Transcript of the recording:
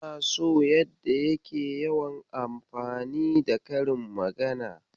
Ina so yadda yake yawan anfani da karin magana.